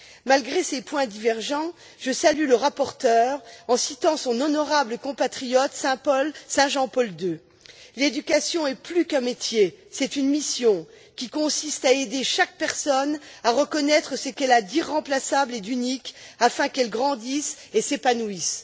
Malgré ces points divergents, je salue le rapporteur en citant son honorable compatriote Saint Jean Paul II L'éducation est plus qu'un métier, c'est une mission qui consiste à aider chaque personne à reconnaître ce qu'elle a d'irremplaçable et d'unique afin qu'elle grandisse et s'épanouisse.